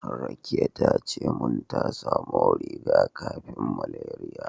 Rakiya tace min ta samo riga-kafin malariya.